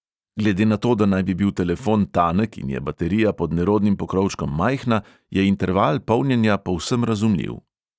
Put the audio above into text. Glede na to, da naj bi bil telefon tanek in je baterija pod nerodnim pokrovčkom majhna, je interval polnjenja povsem razumljiv.